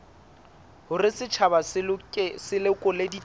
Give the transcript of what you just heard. hore setjhaba se lekole ditaba